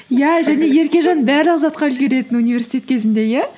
иә және еркежан барлық затқа үлгеретін университет кезінде иә